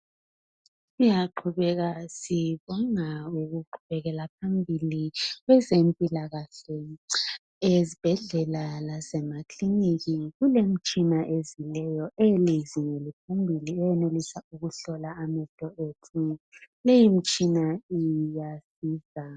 Siyaqhubeka sibonga ukuqhubekela phambili kwezempilakahle ezibhedlela lasemakilinika kulemitshina ezileyo eyezinga eliphambili eyenelisa ukuhlola amehlo ethu leyi mitshina iyasiza.